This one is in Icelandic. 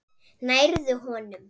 Nærðu honum?